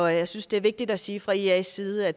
jeg synes det er vigtigt at sige fra ias side at